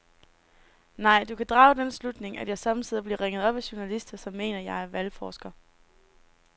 Nej, du kan drage den slutning, at jeg sommetider bliver ringet op af journalister, som mener, at jeg er valgforsker.